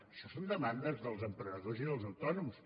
això són demandes dels emprenedors i dels autònoms